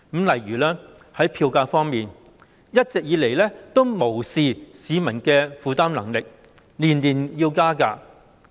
例如在票價方面，一直以來無視市民的負擔能力，每年加價。